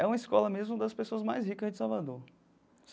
É uma escola mesmo das pessoas mais ricas de Salvador.